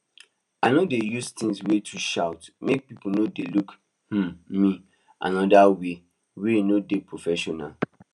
i no dey use things wey too shout make people no dey look um me another way wey no dey professional